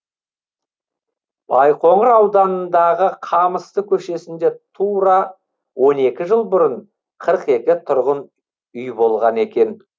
байқоңыр ауданындағы қамысты көшесінде тура он екі жыл бұрын қырық екі тұрғын үй болған екен